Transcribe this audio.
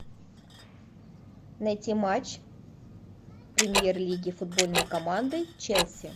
найти матч премьер лиги футбольной команды челси